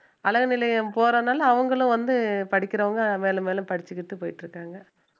அழகு நிலையம் போறதுனால அவங்களும் வந்து படிக்கிறவங்க மேலும் மேலும் படிச்சுக்கிட்டு போயிட்டு இருக்காங்க